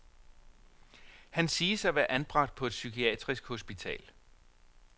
Han siges at være anbragt på et psykiatrisk hospital.